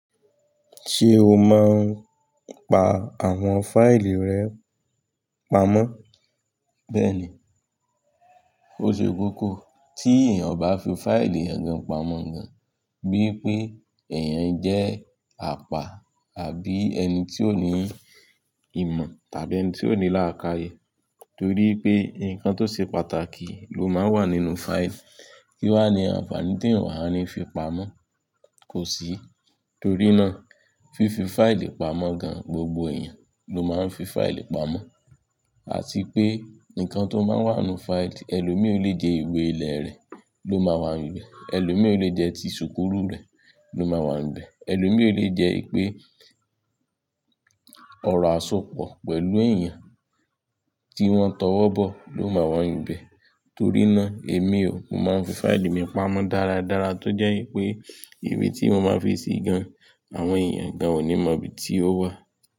Ṣé o máa ń pa àwọn fáìlì rẹ pamọ́? Bẹ́ẹ̀ni, ó ṣe kókó tí èèyàn bá fi fáìlì èèyàn gan pamọ́ gan, bíi pé èèyàn jẹ́ àpá àbí ẹni tí ó ní ìmọ̀ tàbí ẹni tí ó ní láákàyè torí pé nǹkan tó ṣe pàtàkì ló máa ń wà nínú fáìlì kí wá ní àǹfààní tí èèyàn owá ní fi pamọ́. Kò sí, torí náà fífi fáìlì pamọ́ gan gbogbo èèyàn ló máa ń fi fáìlì pamọ́. Àti pé nǹkan tó máa ń wà nínú fáìlì ẹlòmí o lè jẹ́ ìwé ilé rẹ̀ ló máa wà níbẹ̀, ẹlòmí o lè jẹ́ ti ṣùkúú rẹ̀ ló máa wà níbẹ̀, ẹlòmí o lè jẹ́ pé ọ̀rọ̀ àsopọ̀ pẹ̀lú èèyàn tí wọ́n tọwọ́ bọ̀ ló máa wà níbẹ̀. Torí náà èmi ò mo máa ń fi fáìlì mi pamọ́ dáradára tó jẹ́ wipé ìwé tí mo máa fi ṣe gan àwọn èèyàn gan ò ní mọ ibi tí ó wà.